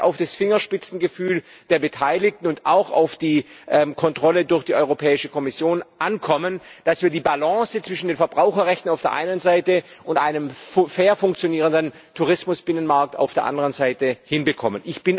Hier wird es auf das Fingerspitzengefühl der Beteiligten und auch auf die Kontrolle durch die Europäische Kommission ankommen, dass wir die Balance zwischen den Verbraucherrechten auf der einen Seite und einem fair funktionierenden Tourismusbinnenmarkt auf der anderen Seite hinbekommen.